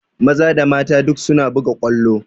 Maza da mata duk suna buga ƙwallo